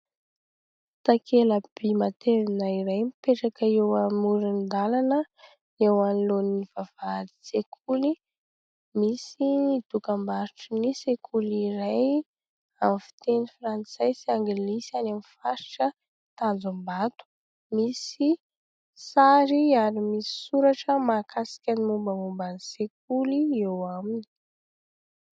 Takela-by matevina iray mipetraka eo amoron-dalana eo anolohan' ny vavahadin' ny sekoly. Misy ny dokam-barotra ny sekoly iray amin' ny fiteny frantsay sy anglisy any amin' ny faritra tanjom-bato misy sary ary misy soratra mahakasika ny mombamomba ny sekoly eo aminy.